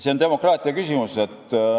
See on demokraatia küsimus.